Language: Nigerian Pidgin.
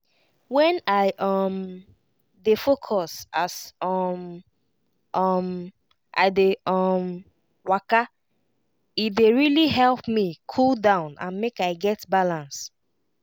when i um dey focus as um um i dey um waka e dey really help me cool down and make i get balance.